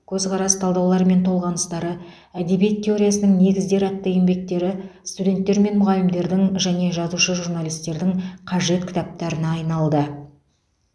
көзқарас талдаулар мен толғаныстары әдебиет теориясының негіздері атты еңбектері студенттер мен мұғалімдердің және жазушы журналистердің қажет кітаптарына айналды